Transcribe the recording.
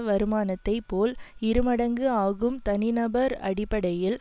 வருமானத்தைப் போல் இரு மடங்கு ஆகும் தனி நபர் அடிப்படையில்